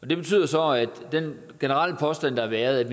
det betyder så at den generelle påstand der har været